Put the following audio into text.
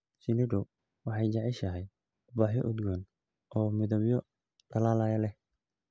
Shinnidu waxay jeceshahay ubaxyo udgoon oo midabyo dhalaalaya leh.